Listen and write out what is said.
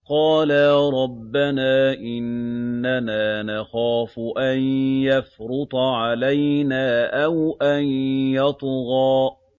قَالَا رَبَّنَا إِنَّنَا نَخَافُ أَن يَفْرُطَ عَلَيْنَا أَوْ أَن يَطْغَىٰ